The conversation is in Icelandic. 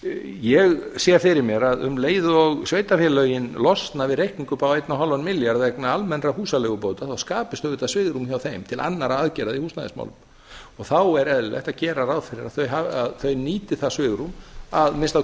ég sé fyrir mér að um leið og sveitarfélögin losna við reikning upp á fimmtán milljarða vegna almennra húsaleigubóta þá skapist auðvitað svigrúm hjá þeim til annarra aðgerða í húsnæðismálum og þá er eðlilegt að þau nýti það svigrúm að minnsta